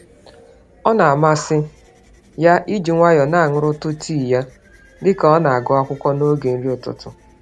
Ọna amasị ya iji nwayọọ nañụrụtụ tii ya, dịka ọna-agụ akụkọ, n'oge nri ụtụtụ